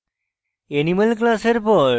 animal class পর